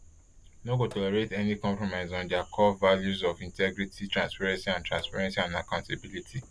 no go tolerate any compromise on dia core values of integrity transparency and transparency and accountability